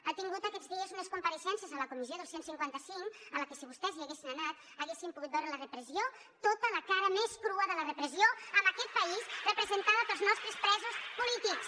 ha tingut aquests dies unes compareixences a la comissió del cent i cinquanta cinc a la que si vostès hi haguessin anat haguessin pogut veure la repressió tota la cara més crua de la repressió en aquest país representada pels nostres presos polítics